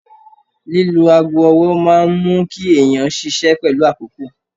Lílo aago ọwọ́ máa mú kí èèyàn ṣiṣẹ́ pẹ̀lú àkókò